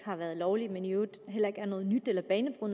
har været lovligt og i øvrigt heller ikke er noget nyt